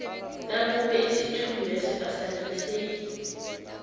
nakube isithunyweso asaneliseki